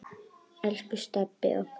Elsku Stebbi okkar.